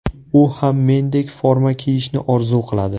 U ham mendek forma kiyishni orzu qiladi.